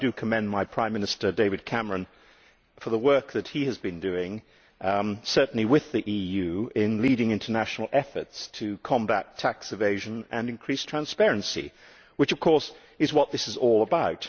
I commend my Prime Minister, David Cameron for the work that he has been doing certainly with the European Union in leading international efforts to combat tax evasion and increase transparency which, of course, is what this is all about.